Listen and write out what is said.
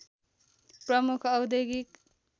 प्रमुख औद्योगिक